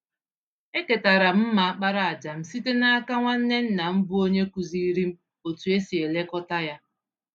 Eketara m mma àkpàràjà m site n'aka nwanne nna m bụ́ onye kụziiri m otú e si elekọta ya.